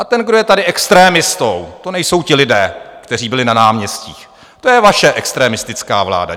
A ten, kdo je tady extrémistou, to nejsou ti lidé, kteří byli na náměstích, to je vaše extremistická vláda.